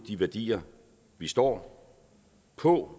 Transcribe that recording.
de værdier vi står på